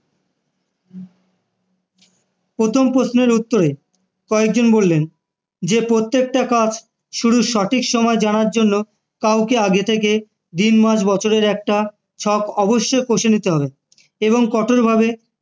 প্রথম প্রশ্নের উত্তরে কয়েকজন বললেন যে প্রত্যেকটা কাজ শুরুর সঠিক সময় জানার জন্য কাউকে আগে থেকে দিন, মাস, বছরের একটা ছক অবশ্যই কষে নিতে হবে এবং কঠোরভাবে